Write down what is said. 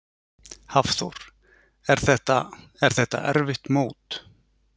Hafþór: Er þetta, er þetta erfitt mót?